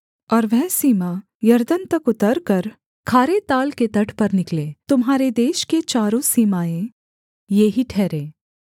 और वह सीमा यरदन तक उतरकर खारे ताल के तट पर निकले तुम्हारे देश के चारों सीमाएँ ये ही ठहरें